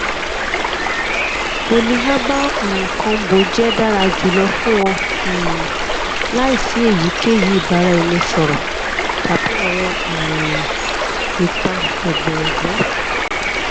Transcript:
polyherbal um combo jẹ dara julọ fun ọ um laisi eyikeyi ibaraẹnisọrọ tabi awọn um ipa ẹgbẹ ẹgbẹ